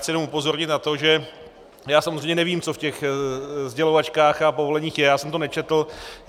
Chci jenom upozornit na to, že já samozřejmě nevím, co v těch sdělovačkách a povoleních je, já jsem to nečetl.